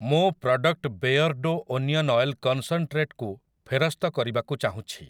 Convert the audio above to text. ମୁଁ product Beardo onion oil concentrate କୁ ଫେରସ୍ତ କରିବାକୁ ଚାହୁଁଛି ।